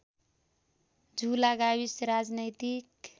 झुला गाविस राजनैतिक